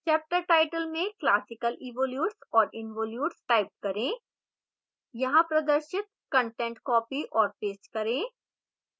chapter title में classical evolutes and involutes type करें यहाँ प्रदर्शित कंटेंट कॉपी और पेस्ट करें